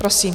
Prosím.